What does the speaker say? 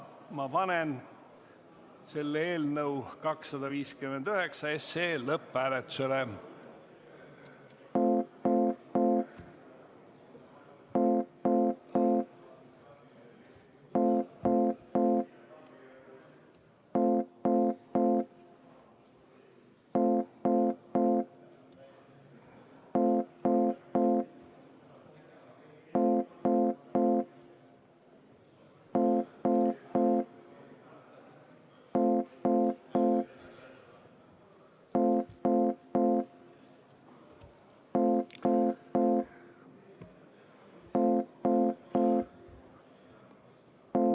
Ma panen eelnõu 259 lõpphääletusele.